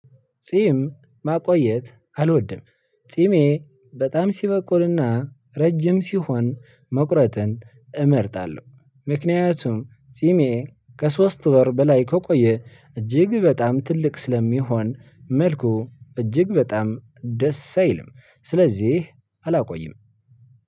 ጺም ማቆየት አልወድም። ጺሜ በጣም ሲበቁርና ረጅም ሲሆን መቁረጥን እመርጣለሁ። ምክንያቱም ጺሜ ከሶስት ወር በላይ ከቆየ እጅግ በጣም ትልቅ ስለሚሆን መልኩ እጅግ በጣም ደስ አይልም። ስለዚህ አላቆይም።